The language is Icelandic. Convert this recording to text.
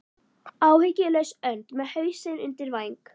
Áhyggjulaus önd með hausinn undir væng.